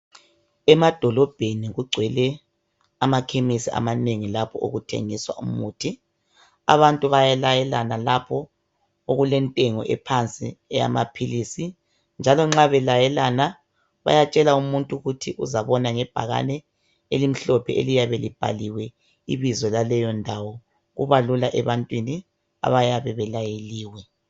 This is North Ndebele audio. Emadolobheni kugcwele ama chemis amanengi lapho okuthengiswa khona umuthi. Abantu bayalayelana lapho okulentengo ephansi eyamaphilisi njalo nxa belayelana bayatshela umuntu ukuthi uzabona ngebhakane elimhlophe eliyabe libhaliwe ibizo laleyondawo. Kuba Lula ebantwini abayabe belayeliwe.